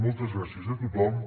moltes gràcies a tothom